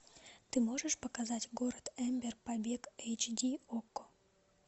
ты можешь показать город эмбер побег эйч ди окко